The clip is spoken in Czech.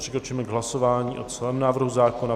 Přikročíme k hlasování o celém návrhu zákona.